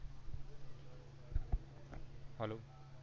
hello